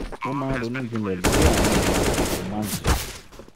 ó máa ń ronú jinlẹ̀ lórí àwọn ìwàásù tó máa ń sọ